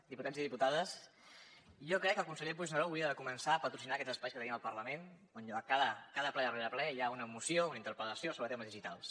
diputats i diputades jo crec que el conseller puigneró hauria de començar a patrocinar aquests espais que tenim al parlament on cada ple rere ple hi ha una moció o una interpel·lació sobre temes digitals